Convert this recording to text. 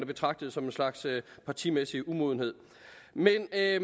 betragtede som en slags partimæssig umodenhed men alle